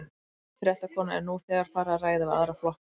Ónefnd fréttakona: Er nú þegar farið að ræða við aðra flokka?